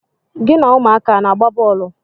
Gị na ụmụaka a na-agba bọọlụ?